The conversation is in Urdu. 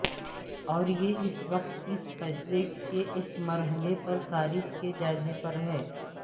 اور یہ اس وقت اس فیصلے کے اس مرحلے اور صارف کے جائزے پر ہے